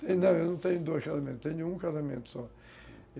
Não, eu não tenho dois casamentos, tenho um casamento só.